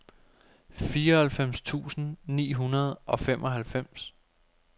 fireoghalvfems tusind ni hundrede og femoghalvfems